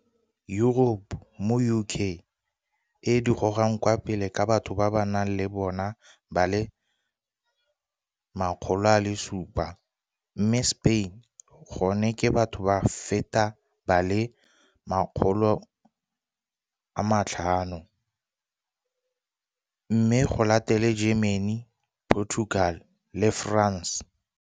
Europe moo UK e di gogang kwa pele ka batho ba ba nang le bona ba le 700, mme Spain gone ke batho ba feta ba le 500, mme go latele Germany, Portugal le France.